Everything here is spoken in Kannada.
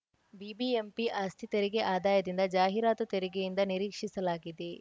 ಬಿಬಿಎಂಪಿ ಆಸ್ತಿ ತೆರಿಗೆ ಆದಾಯದಿಂದ ಜಾಹೀರಾತು ತೆರಿಗೆಯಿಂದ ನಿರೀಕ್ಷಿಸಲಾಗಿದೆ